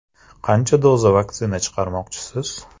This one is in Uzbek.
- Qancha doza vaksina chiqarmoqchisiz?